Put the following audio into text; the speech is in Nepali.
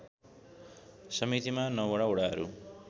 समितिमा ९वटा वडाहरू